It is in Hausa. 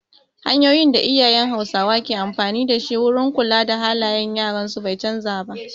Hanyoyin da iyayen hausawa ke amfani dashi wurin kula da halayen yaran su bai canza ba